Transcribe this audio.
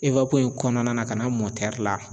in kɔnɔna na ka na la